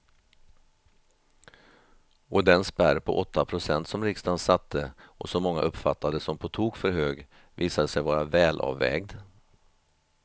Och den spärr på åtta procent som riksdagen satte och som många uppfattade som på tok för hög visade sig vara välavvägd.